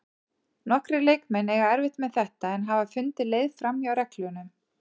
Nokkrir leikmenn eiga erfitt með þetta en hafa fundið leið framhjá reglunum.